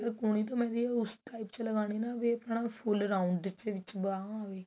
ਕੂਹਣੀ ਤੋਂ mehendi ਉਸ type ਚ ਲੱਗਾਣੀ ਨਾ ਵੀ ਆਪਣਾ full round ਦੇ ਵਿੱਚ ਬਾਵਾਂ ਵੀ